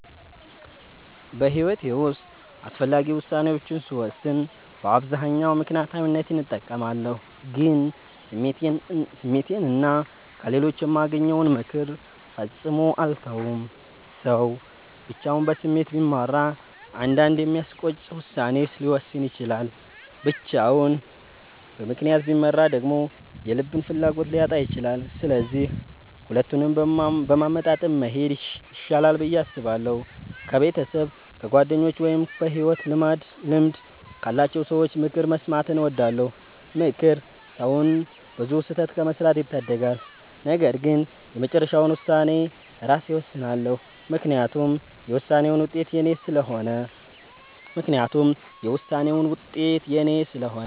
በሕይወቴ ውስጥ አስፈላጊ ውሳኔዎችን ስወስን በአብዛኛው ምክንያታዊነትን እጠቀማለሁ፣ ግን ስሜቴንና ከሌሎች የማገኘውን ምክር ፈጽሞ አልተውም። ሰው ብቻውን በስሜት ቢመራ አንዳንዴ የሚያስቆጭ ውሳኔ ሊወስን ይችላል፤ ብቻውን በምክንያት ቢመራ ደግሞ የልብን ፍላጎት ሊያጣ ይችላል። ስለዚህ ሁለቱንም በማመጣጠን መሄድ ይሻላል ብዬ አስባለሁ። ከቤተሰብ፣ ከጓደኞች ወይም በሕይወት ልምድ ካላቸው ሰዎች ምክር መስማትን እወዳለሁ። ምክር ሰውን ብዙ ስህተት ከመስራት ይታደጋል። ነገር ግን የመጨረሻውን ውሳኔ ራሴ እወስናለሁ፤ ምክንያቱም የውሳኔውን ውጤት የኔ ስለሆነ።